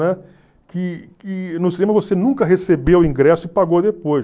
Né? Que que no cinema você nunca recebeu o ingresso e pagou depois.